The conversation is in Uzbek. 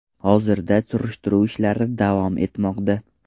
Hozirda surishtiruv ishlari davom etmoqda.